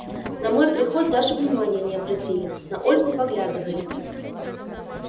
на мой приход даже внимания не обратили на ольгу поглядывали